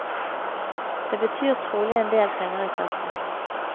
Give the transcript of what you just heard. Det betyr trolig endel penger i kassen.